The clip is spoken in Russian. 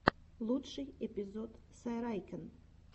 лучший эпизод сайрайкен